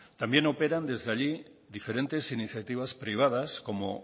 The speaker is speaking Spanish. también operan desde allí diferentes iniciativas privadas como